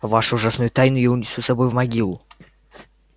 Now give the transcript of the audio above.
вашу ужасную тайну я унесу с собой в могилу